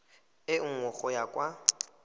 e nngwe go ya kwa